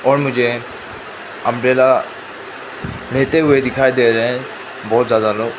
और मुझे अंब्रेला लेते हुए दिखाई दे रहा है बहुत ज्यादा लोग।